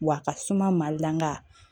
Wa a ka suma mali la nga